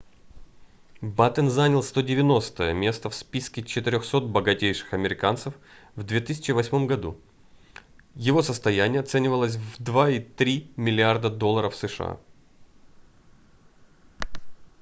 баттен занял 190-е место в списке 400 богатейших американцев в 2008 году его состояние оценивалось в 2,3 миллиарда долларов сша